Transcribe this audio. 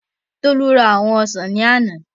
Tolú ra àwọn ọsàn ní àná